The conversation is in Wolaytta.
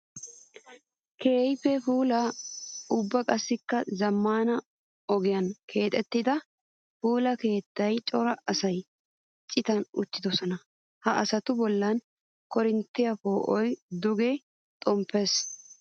Keehippe puula ubba qassikka zamaana ogiyan keexettidda puula keettan cora asan citan uttidosonna. Ha asattu bollan koorinttiya poo'oy duge xomppes.